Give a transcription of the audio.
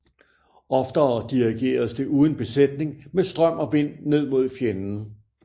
Oftere dirigeredes det uden besætning med strøm og vind ned mod fjenden